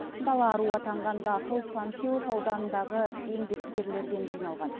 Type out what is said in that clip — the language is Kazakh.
дала аруы атанған дақыл панфилов ауданындағы еңбеккерлерден жиналған